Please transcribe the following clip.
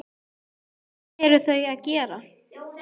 Hvað eru þau að gera?